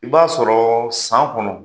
I b'a sɔrɔ san kɔnɔ.